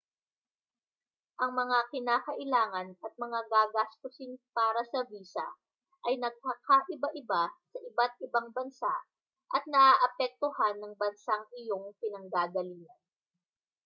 ang mga kinakailangan at mga gagastusin para sa visa ay nagkakaiba-iba sa iba't-ibang bansa at naaapektohan ng bansang iyong pinanggagalingan